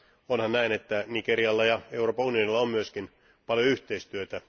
Onhan näin, että Nigerialla ja Euroopan unionilla on myöskin paljon yhteistyötä.